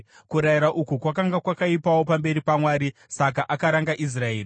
Kurayira uku kwakanga kwakaipawo pamberi paMwari, saka akaranga Israeri.